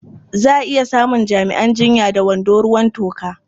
Za a iya samun jami'an jinya da wando ruwan toka.